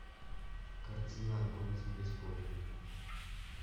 картина огонь из преисподней